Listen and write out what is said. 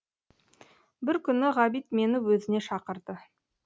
бір күні ғабит мені өзіне шақырды